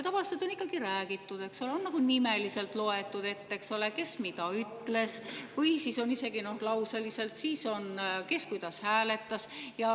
Tavaliselt on ikkagi räägitud ja nimeliselt ette loetud, kes mida ütles – ehk isegi lauseliselt – ja kes kuidas hääletas.